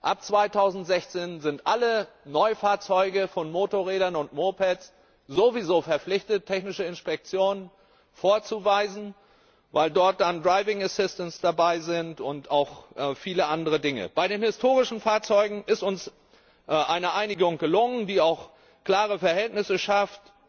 Ab 2016 sind alle Neufahrzeuge von Motorrädern und Mopeds sowieso verpflichtet, technische Inspektionen vorzuweisen, weil dort dann Driving Assistance und auch viele andere Dinge dabei sind. Bei den historischen Fahrzeugen ist uns eine Einigung gelungen, die auch klare Verhältnisse schafft